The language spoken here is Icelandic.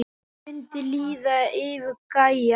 Það mundi líða yfir gæjann!